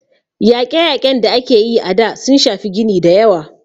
Yaƙe - yaƙen da aka yi a da, sun shafi gini dayawa